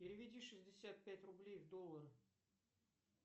переведи шестьдесят пять рублей в доллары